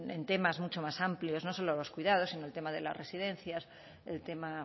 en temas mucho más amplios no solo de los cuidados sino el tema de las residencias el tema